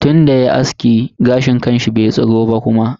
Tunda yayi aski, gashin kanshi bai tsiro ba kuma.